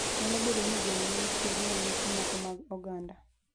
Nyalo bedo ni gweno ne itiyogo e nyasi moko mag oganda.